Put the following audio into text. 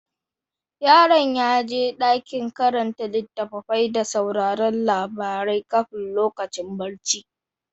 Yaron ya ji daɗin karanta littattafai da sauraron labarai kafin lokacin barci.